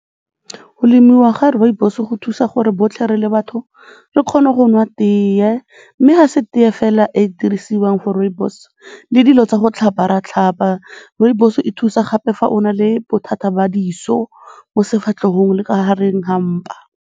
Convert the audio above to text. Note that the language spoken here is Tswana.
Go lemiwa ga rooibos-o go thusa gore botlhe re le batho re kgone go nwa tee mme ga se tee fela e e dirisiwang for rooibos, le dilo tsa go tlhapa re a tlhapa. Rooibos e thusa gape fa o na le bothata ba diso mo sefatlhegong le ka gareng ga mpa.